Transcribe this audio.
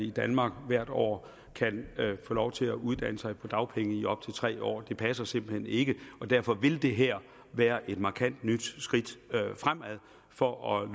i danmark hvert år kan få lov til at uddanne sig på dagpenge i op til tre år det passer simpelt hen ikke derfor vil det her være et markant nyt skridt fremad for at